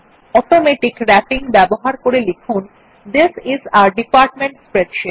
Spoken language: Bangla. অটোমেটিক র্যাপিং ব্যবহার করে লিখুন this is a department spreadsheet